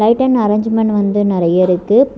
Item arrangement வந்து நறைய இருக்கு.